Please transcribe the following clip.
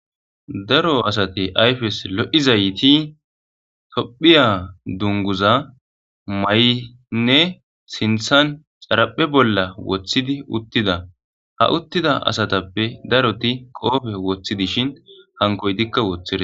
daro asate ayfes lo7izayti tophiya dunguza ma7inne sinthan xaraphe bolla woththidi uttida ha uttida asatappe daroti qoofe woththi dishin hankoy dikka woththire